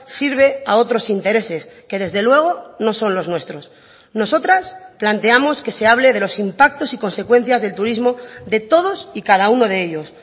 sirve a otros intereses que desde luego no son los nuestros nosotras planteamos que se hable de los impactos y consecuencias del turismo de todos y cada uno de ellos